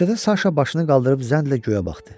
Küçədə Saşa başını qaldırıb zənnlə göyə baxdı.